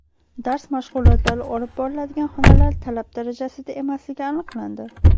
Dars mashg‘ulotlari olib boriladigan xonalar talab darajasida emasligi aniqlandi.